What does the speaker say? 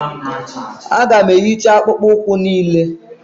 aga m ehicha akpụkpọ ụkwụ niile